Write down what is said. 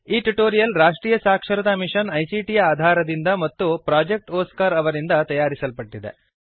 ಈ ಟ್ಯುಟೋರಿಯಲ್ ರಾಷ್ಟ್ರೀಯ ಸಾಕ್ಷರತಾ ಮಿಶನ್ ಐಸಿಟಿ ಯ ಆಧಾರದಿಂದ ಮತ್ತು ಪ್ರೊಜೆಕ್ಟ್ ಒಸ್ಕಾರ್ ಅವರಿಂದ ತಯಾರಿಸಲ್ಪಟ್ಟಿದೆ